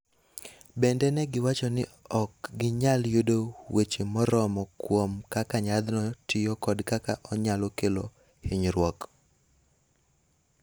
Bende ne giwacho ni ok ginyal yudo weche moromo kuom kaka yathno tiyo kod kaka onyalo kelo hinyruok.